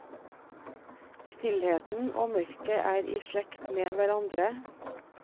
Stillheten og mørket er i slekt med hverandre.